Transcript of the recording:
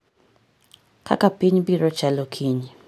kaka piny biro chalo kiny